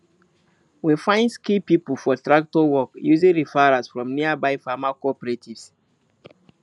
we find skilled people for tractor work using referrals from nearby farmer cooperatives